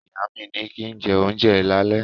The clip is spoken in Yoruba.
Ìyá mi ní kín jẹ́ ohunjẹ lálé